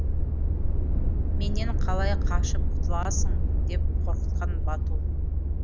менен қалай қашып құтыласың деп қорқытқан бату